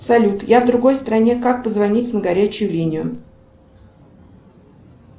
салют я в другой стране как позвонить на горячую линию